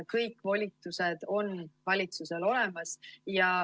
Kõik volitused on valitsusel olemas.